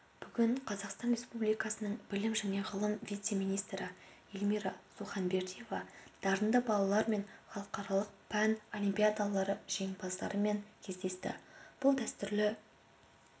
бүгін қазақстан республикасының білім және ғылым вице-министрі эльмирасуханбердиева дарынды балалармен халықаралық пән олимпиадаларыжеңімпаздарымен кездесті бұл дәстүрлі